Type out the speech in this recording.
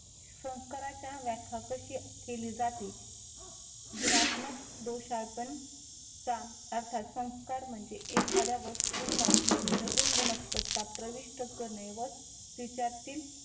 संस्काराच्या व्याख्या कशी केली जाते. गुणात्मक दोषा अपर्णअर्थात संस्कार म्हणजे एखाद्या वस्तूंना नवीन गुणवत्ता प्रविष्ट करणे व तिच्यातील